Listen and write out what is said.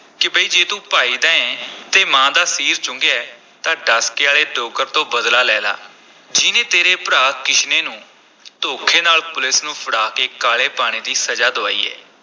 ਕਿ ਬਈ ਜੇ ਤੂੰ ਭਾਈ ਦਾ ਐਂ ਤੇ ਮਾਂ ਦਾ ਸੀਰ ਚੁੰਘਿਆ ਹੈ ਤਾਂ ਡਸਕੇ ਆਲੇ ਡੋਗਰ ਤੋਂ ਬਦਲਾ ਲੈ ਲਾ, ਜਿਹਨੇ ਤੇਰੇ ਭਰਾ ਕਿਸ਼ਨੇ ਨੂੰ ਧੋਖੇ ਨਾਲ ਪੁਲੀਸ ਨੂੰ ਫੜਾ ਕੇ ਕਾਲੇ ਪਾਣੀ ਦੀ ਸਜ਼ਾ ਦੁਆਈ ਹੈ।